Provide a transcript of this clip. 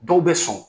Dɔw bɛ sɔn